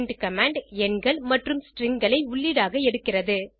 print command எண்கள் மற்றும் stringகளை உள்ளீடாக எடுக்கிறது